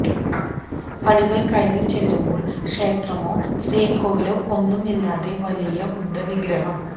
പടികൾ കയറി ചെല്ലുമ്പോൾ ക്ഷേത്രമോ ശ്രീ കൊവിലോ ഒന്നും ഇല്ലാതെ വലിയ ബുദ്ധ വിഗ്രഹം